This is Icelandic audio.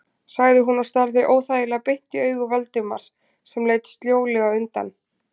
sagði hún og starði óþægilega beint í augu Valdimars sem leit sljólega undan.